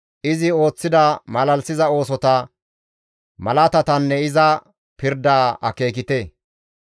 Izi ooththida malalisiza oosota, malaatatanne iza pirdaa akeekite.